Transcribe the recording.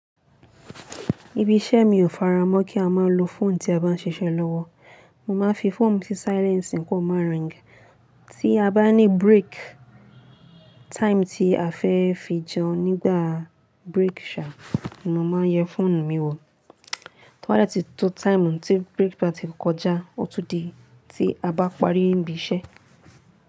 Ibi iṣẹ́ mi ò faramọ́ kí a máa lo fóònù tí a bá ń ṣiṣẹ́ lọ́wọ́. Mo máa ń fi fóònù mi sí silence kí ó má ring. Tí a bá ní break time tí a fẹ́ fi jẹun nígbà break sha, mo máa yẹ fóònù mi wò. Tọ́ bá dẹ̀ tí tó time tí break time ti kọjá, ó tún di tí a bá parí níbi iṣẹ́.